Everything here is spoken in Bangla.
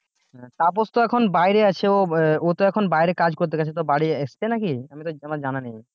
তাপস তো এখন বাইরে আছে ও ও তো এখন বাইরে কাজ করতে গেছে তো বাড়ি এসছে নাকি আমি তো আমার জানা নেই